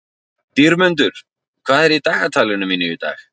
Dýrmundur, hvað er í dagatalinu mínu í dag?